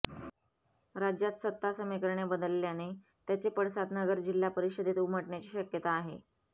राज्यात सत्ता समिकरणे बदलल्याने त्याचे पडसाद नगर जिल्हा परिषदेत उमटण्याची शक्यता आहे